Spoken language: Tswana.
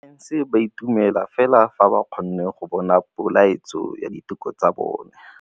Borra saense ba dumela fela fa ba kgonne go bona poeletsô ya diteko tsa bone.